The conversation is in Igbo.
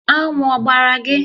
Aṅụ ọ gbara gị?